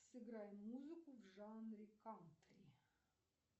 сыграй музыку в жанре кантри